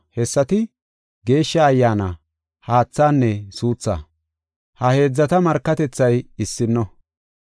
Hessati, Geeshsha Ayyaana, haathaanne suuthaa. Ha heedzata markatethay issino.